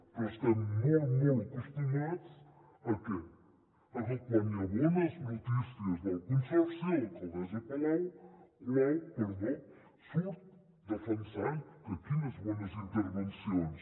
però estem molt molt acostumats a què a que quan hi ha bones notícies del consorci l’alcaldessa colau surt defensant que quines bones intervencions